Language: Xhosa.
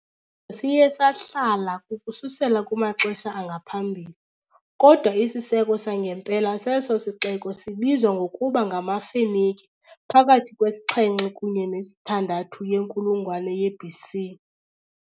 siye sahlala ukususela kumaxesha angaphambili, kodwa isiseko sangempela seso sixeko sibizwa ngokuba ngamaFenike phakathi kwe -7 kunye ne -6 yenkulungwane ye-BC .